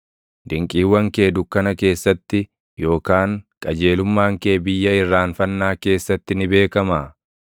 Dinqiiwwan kee dukkana keessatti, yookaan qajeelummaan kee biyya irraanfannaa keessatti ni beekamaa?